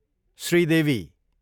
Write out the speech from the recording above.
Sridevi